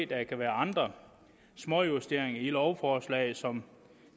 der kan være andre småjusteringer i lovforslaget som